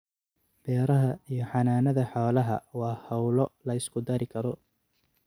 Beeraha iyo xanaanada xoolaha waa hawlo la isku dari karo.